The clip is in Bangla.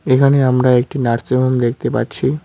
এখানে আমরা একটি নার্সিংহোম দেখতে পাচ্ছি।